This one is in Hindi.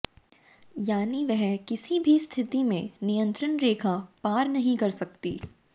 यानी वह किसी भी स्थिति में नियंत्रण रेखा पार नहीं कर सकती